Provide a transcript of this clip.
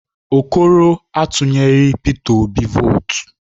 Okoro a tunyeghị Peter Obi votu